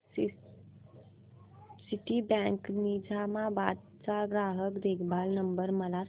Citibank Nizamabad चा ग्राहक देखभाल नंबर मला सांगा